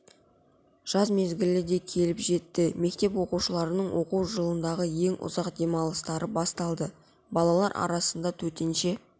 жаз мезгілі де келіп жетті мектеп оқушыларының оқу жылындағы ең ұзақ демалыстары басталды балалар арасында төтенше